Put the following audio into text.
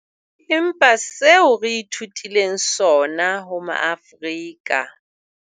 Empa seo re ithutileng sona ho ma-Afrika.